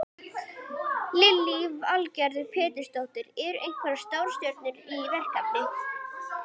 Lillý Valgerður Pétursdóttir: Eru einhverjar stórstjörnur í því verkefni?